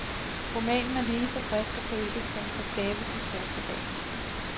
Romanen er lige så frisk og poetisk som på skabelsens første dag.